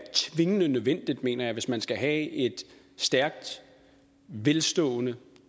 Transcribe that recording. tvingende nødvendigt mener jeg hvis man skal have et stærkt velstående